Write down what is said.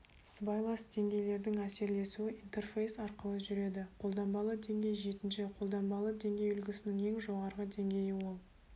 сыбайлас деңгейлердің әсерлесуі интерфейс арқылы жүреді қолданбалы деңгей жетінші қолданбалы деңгей үлгісінің ең жоғарғы деңгейі ол